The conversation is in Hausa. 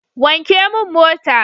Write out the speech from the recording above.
Wanke mun mota!